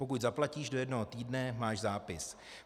Pokud zaplatíš do jednoho týdne, máš zápis.